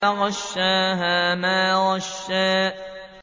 فَغَشَّاهَا مَا غَشَّىٰ